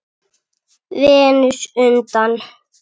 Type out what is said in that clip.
Venus undan